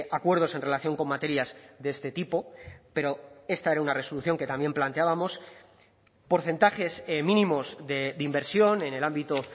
acuerdos en relación con materias de este tipo pero esta era una resolución que también planteábamos porcentajes mínimos de inversión en el ámbito